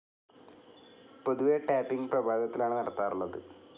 പൊതുവെ ടാപ്പിംഗ്‌ പ്രഭാതത്തിലാണ് നടത്താറുള്ളത്.